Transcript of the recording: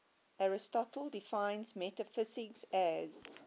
aristotle defines metaphysics as